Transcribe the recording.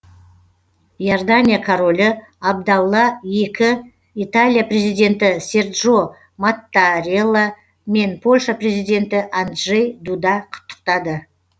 иордания королі абдалла екі италия президенті серджо маттарелла мен польша президенті анджей дуда құттықтады